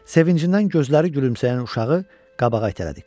Sevincindən gözləri gülümsəyən uşağı qabağa itələdi.